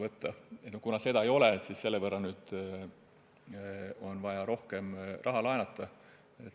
Kuna meil seda puhvrit ei ole, siis on selle võrra rohkem vaja raha laenata.